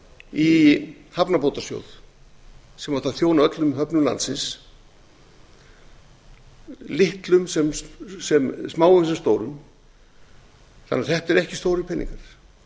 í hafnabótasjóð sem átti að þjóna öllum höfnum landsins smáum sem stórum þannig að þetta eru ekki stórir peningar